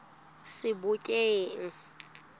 sebokeng